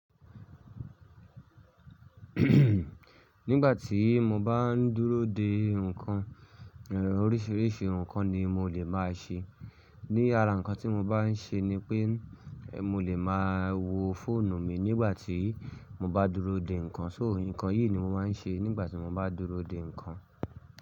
Nígbà tí mo bá ń dúró de ǹkan, oríṣìíríṣìí ǹkan ni mo lè máa ṣe. Ní ara ǹkan tí mo bá ṣe ni pé mo lè má wo fóònù mi nígbà tí mo bá dúró de ǹkan. So, ǹkan yìí ni mo máa ṣe nígbà tí mo bá dúró de ǹkan.